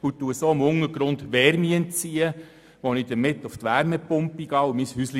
Damit entziehe ich dem Untergrund Wärme, mit welcher ich über die Wärmepumpe mein Häuschen heize.